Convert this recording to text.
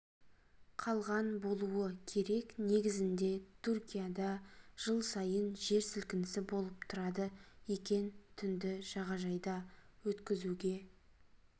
қалған болуы керек негізінде түркияда жыл сайын жер сілкінісі болып тұрады екен түнді жағажайда өткізуге